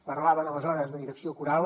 parlaven aleshores de direcció coral